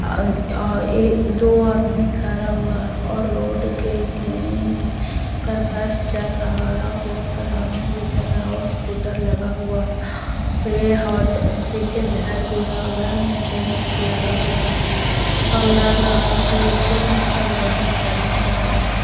अम ah एक दो आदमी खरा हुआ है और रोड के के कर बस चर रहा है और रोड पर आदमी भी चर रहा है और स्कूटर लगा हुआ पीछे घर भी है और घर में टेंट लगा हुआ है और लग रहा है कि स्कूल में सब लइकन परने जा रहा --